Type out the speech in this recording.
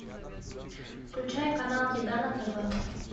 включай канал еда на тв